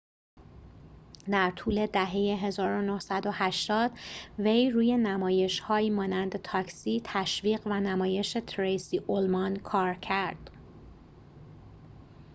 در طول دهه ۱۹۸۰ وی روی نمایش‌هایی مانند تاکسی تشویق و نمایش تریسی اولمان کار ‌کرد